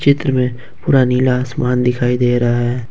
चित्र में पूरा नीला आसमान दिखाई दे रहा है।